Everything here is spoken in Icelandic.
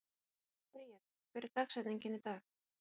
Bríet, hver er dagsetningin í dag?